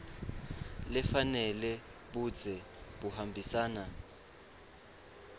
lefanele budze buhambisana